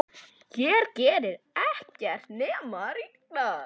Hér gerir ekkert nema rigna.